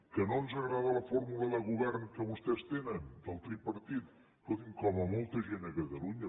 que no ens agrada la fórmula de govern que vostès tenen del tripartit escolti’m com a molt gent a catalunya